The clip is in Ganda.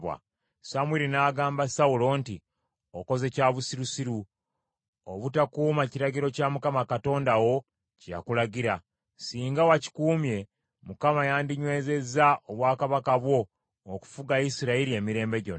Samwiri n’agamba Sawulo nti, “Okoze kya busirusiru, obutakuuma kiragiro kya Mukama Katonda wo kye yakulagira. Singa wakikuumye, Mukama yandinywezezza obwakabaka bwo okufuga Isirayiri emirembe gyonna.